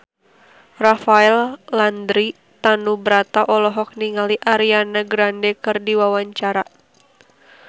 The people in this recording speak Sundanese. Rafael Landry Tanubrata olohok ningali Ariana Grande keur diwawancara